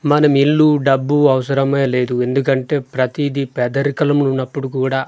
మనం ఇల్లు డబ్బు అవసరమే లేదు ఎందుకంటే ప్రతిదీ పేదరికలము ఉన్నప్పుడు కూడా--